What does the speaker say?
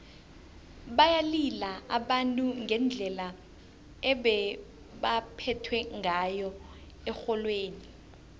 bayalila abantu ngendlela ebebaphethwe ngayo erholweni